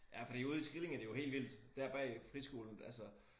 Ja fordi ude i Skrillinge det jo helt vildt dér bag friskolen altså